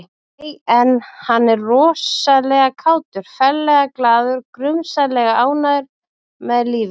Nei, en hann er rosalega kátur, ferlega glaður, grunsamlega ánægður með lífið